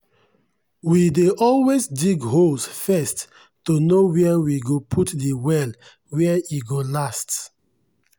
we dey always dig holes first to know where we go put de well where e go last.